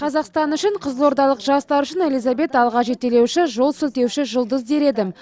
қазақстан үшін қызылордалық жастар үшін элизабет алға жетелеуші жол сілтеуші жұлдыз дер едім